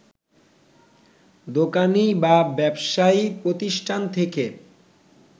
দোকানী বা ব্যবসায়ী প্রতিষ্ঠান থেকে